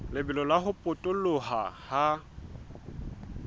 lebelo la ho potoloha ha